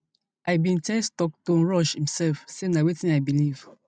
i bin tell stockton rush imsef say na wetin i beliv